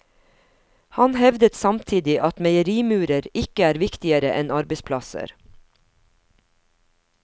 Han hevdet samtidig at meierimurer ikke er viktigere enn arbeidsplasser.